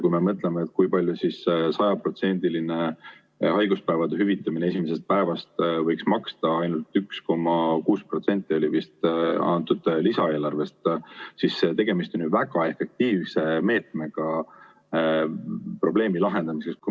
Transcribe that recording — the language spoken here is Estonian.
Kui me mõtleme, kui palju sajaprotsendiline haiguspäevade hüvitamine esimesest päevast võiks maksta – ainult 1,6% lisaeelarvest oli vist –, siis tegemist on ju väga efektiivse meetmega probleemi lahendamiseks.